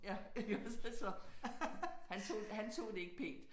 Ja iggås altså han tog han tog det ikke pænt